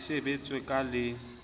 di se sebetswe ka le